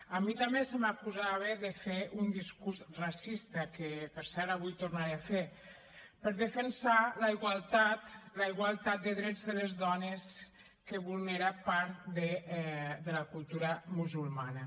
a mi també se m’acusava de fer un discurs racista que per cert avui tornaré a fer pel fet de defensar la igualtat de drets de les dones que vulnera part de la cultura musulmana